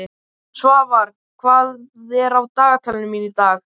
Svafar, hvað er á dagatalinu mínu í dag?